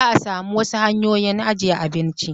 Zaa sami wasu hanyoyi ajjiye abinci